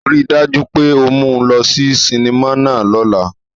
Rii daju pe o mu u lọ si sinima náa lọla!